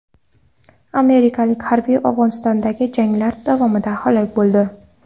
Amerikalik harbiy Afg‘onistondagi janglar davomida halok bo‘ldi.